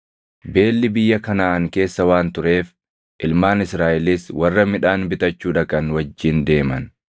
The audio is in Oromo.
Beelli biyya Kanaʼaan keessa waan tureef ilmaan Israaʼelis warra midhaan bitachuu dhaqan wajjin deeman.